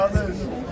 Sənə verməli?